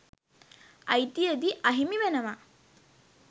අ‍යි‍ති‍ය‍දී ‍අ‍හි‍මි ‍වෙ‍න‍වා